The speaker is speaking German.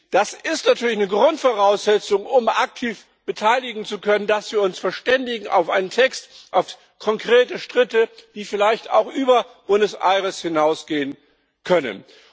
Das ist natürlich eine Grundvoraussetzung, um sich aktiv beteiligen zu können, dass wir uns verständigen auf einen Text, auf konkrete Schritte, die vielleicht auch über Buenos Aires hinausgehen können.